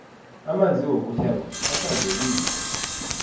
amanzi wokuthengwa ahlanzekile